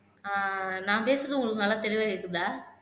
ஆஹ் நான் பேசுறது உங்களுக்கு நல்லா தெளிவா கேக்குதா